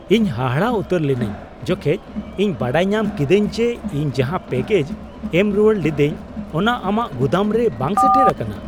ᱤᱧ ᱦᱟᱦᱟᱲᱟᱜ ᱩᱛᱟᱹᱨ ᱞᱤᱱᱟᱹᱧ ᱡᱚᱠᱷᱮᱡ ᱤᱧ ᱵᱟᱰᱟᱭ ᱧᱟᱢ ᱠᱤᱫᱟᱹᱧ ᱡᱮ ᱤᱧ ᱡᱟᱦᱟ ᱯᱮᱠᱮᱡᱽ ᱮᱢ ᱨᱩᱣᱟᱹᱲ ᱞᱤᱫᱟᱹᱧ ᱚᱱᱟ ᱟᱢᱟᱜ ᱜᱩᱫᱟᱹᱢ ᱨᱮ ᱵᱟᱝ ᱥᱮᱴᱮᱨ ᱟᱠᱟᱱᱟ !